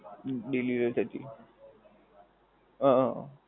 હુંમ delivery થતી. અ